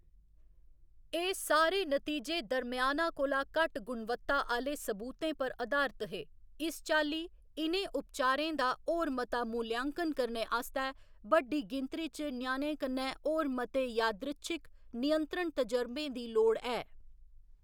एह्‌‌ सारे नतीजे दरम्याना कोला घट्ट गुणवत्ता आह्‌‌‌ले सबूतें पर अधारत हे, इस चाल्ली इ'नें उपचारें दा होर मता मूल्यांकन करने आस्तै बड्डी गिनतरी च ञ्याणें कन्नै होर मते यादृच्छिक, नियंत्रित तजर्बें दी लोड़ ऐ।